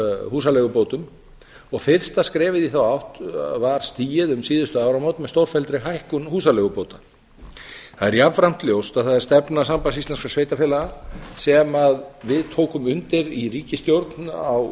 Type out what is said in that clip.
húsaleigubótum og fyrsta skrefið í þá átt var stigið með stórfelldri hækkun húsaleigubóta það er jafnframt ljóst að það er stefna sambands íslenskra sveitarfélaga sem við tókum undir í ríkisstjórn á